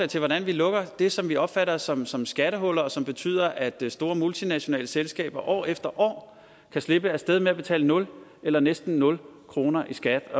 til hvordan vi lukker det som vi opfatter som som skattehuller og som betyder at store multinationale selskaber år efter år kan slippe af sted med at betale nul eller næsten nul kroner i skat